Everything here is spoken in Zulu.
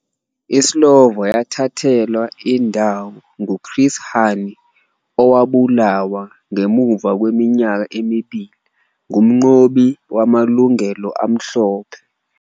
ISlovo yathathelwa indawo nguChris Hani, owabulawa ngemuva kweminyaka emibili ngumnqobi wamalungelo amhlophe.